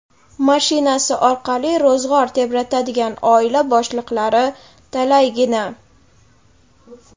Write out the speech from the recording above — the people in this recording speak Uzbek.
mashinasi orqali ro‘zg‘or tebratadigan oila boshliqlari talaygina.